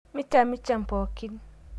Mishamsham pookin